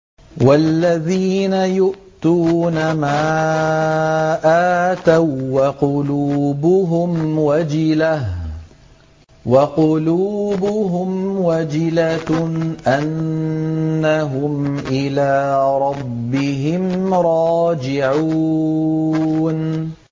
وَالَّذِينَ يُؤْتُونَ مَا آتَوا وَّقُلُوبُهُمْ وَجِلَةٌ أَنَّهُمْ إِلَىٰ رَبِّهِمْ رَاجِعُونَ